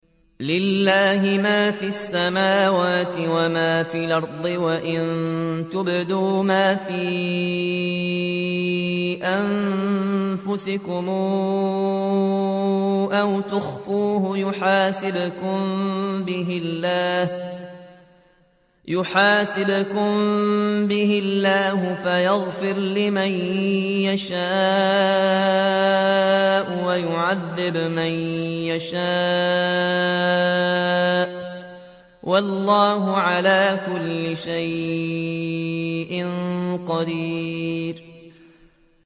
لِّلَّهِ مَا فِي السَّمَاوَاتِ وَمَا فِي الْأَرْضِ ۗ وَإِن تُبْدُوا مَا فِي أَنفُسِكُمْ أَوْ تُخْفُوهُ يُحَاسِبْكُم بِهِ اللَّهُ ۖ فَيَغْفِرُ لِمَن يَشَاءُ وَيُعَذِّبُ مَن يَشَاءُ ۗ وَاللَّهُ عَلَىٰ كُلِّ شَيْءٍ قَدِيرٌ